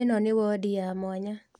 Ĩno nĩ wondi ya mwanya